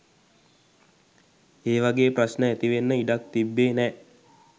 ඒ වගේ ප්‍රශ්න ඇතිවෙන්න ඉඩක් තිබ්බේ නෑ.